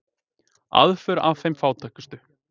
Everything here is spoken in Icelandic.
Aðför að þeim fátækustu